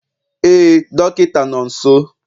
Ee dọkịta nọ nso